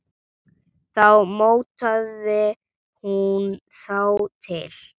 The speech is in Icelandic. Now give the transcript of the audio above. Þá mótaði hún þá til.